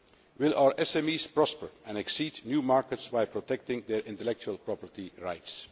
Will our SMEs prosper and access new markets by protecting their intellectual property rights?